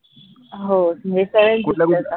हो